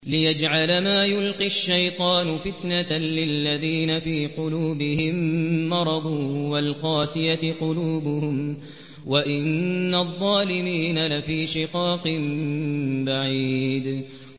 لِّيَجْعَلَ مَا يُلْقِي الشَّيْطَانُ فِتْنَةً لِّلَّذِينَ فِي قُلُوبِهِم مَّرَضٌ وَالْقَاسِيَةِ قُلُوبُهُمْ ۗ وَإِنَّ الظَّالِمِينَ لَفِي شِقَاقٍ بَعِيدٍ